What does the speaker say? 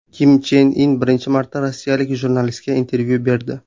Kim Chen In birinchi marta rossiyalik jurnalistga intervyu berdi.